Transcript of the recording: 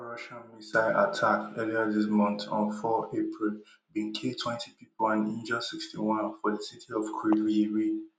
another russian missile attack earlier dis month on four april bin kill twenty pipo and injure sixty-one for di city of kryvyi rih